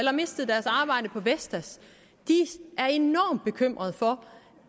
har mistet deres arbejde på vestas er enormt bekymrede for